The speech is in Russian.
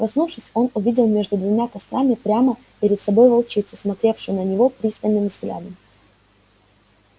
проснувшись он увидел между двумя кострами прямо перед собой волчицу смотревшую на него пристальным взглядом